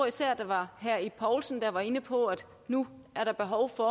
især var herre ib poulsen der var inde på at der nu er behov for